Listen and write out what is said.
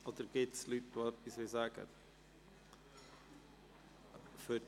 Oder gibt es Leute, die etwas sagen wollen?